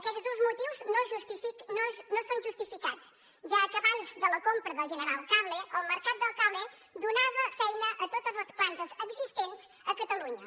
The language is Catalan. aquests dos motius no són justificats ja que abans de la compra de general cable el mercat del cable donava feina a totes les plantes existents a catalunya